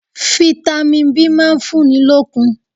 Fitami B máa ń fúnni lókun.